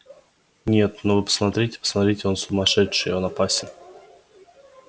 нет ну вы посмотрите посмотрите он сумасшедший он опасен